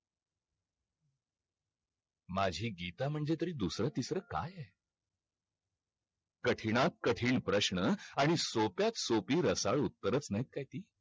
माझी गीता म्हणजे तर दुसर तिसर काय आहे कठीणात कठीण प्रश्न आणि सोप्यात सोपी रसाळू उत्तर नाय काय ती